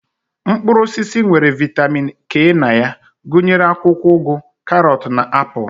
Mkpụrụ osisi nwere vitamin K na ya gụnyere akwụkwọ ụgụ, karọt na na apụl.